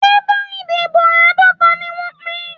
Bébà ìdìbò àádọ́ta ni wọ́n pín.